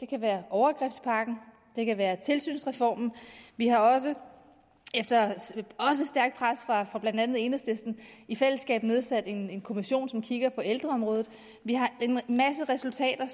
kan være overgrebspakken det kan være tilsynsreformen vi har også efter stærkt pres fra blandt andet enhedslisten i fællesskab nedsat en en kommission som kigger på ældreområdet vi har en masse resultater